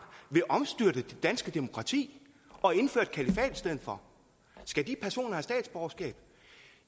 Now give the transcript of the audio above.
vil omstyrte det danske demokrati og indføre et kalifat i stedet for skal de personer have statsborgerskab